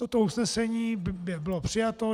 Toto usnesení bylo přijato.